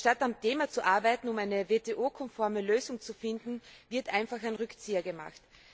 Anstatt am Thema zu arbeiten, um eine WTO konforme Lösung zu finden, wird einfach ein Rückzieher gemacht.